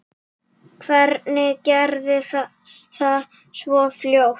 Hvernig gerðist það svona fljótt?